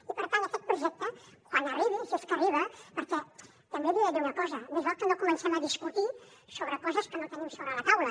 i per tant aquest projecte quan arribi si és que arriba perquè també li he de dir una cosa més val que no comencem a discutir sobre coses que no el tenim sobre la taula